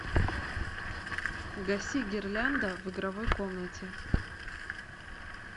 гаси гирлянда в игровой комнате